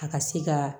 A ka se ka